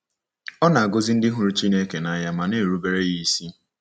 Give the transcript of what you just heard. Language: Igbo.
Ọ na-agọzi ndị hụrụ Chineke n’anya ma na-erubere ya isi.